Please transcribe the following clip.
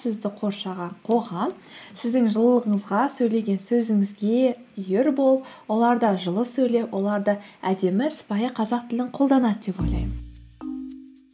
сізді қоршаған қоғам сіздің жылылығыңызға сөйлеген сөзіңізге үйір болып олар да жылы сөйлеп олар да әдемі сыпайы қазақ тілін қолданады деп ойлаймын